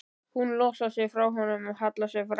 Hún losar sig frá honum og hallar sér fram.